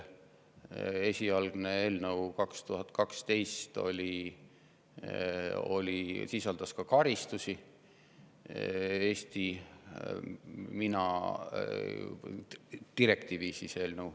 Esialgne eelnõu aastal 2012 sisaldas ka karistusi.